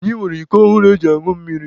Anyị nwere iko ọhụrụ eji añụ mmiri.